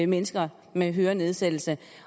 mennesker med hørenedsættelse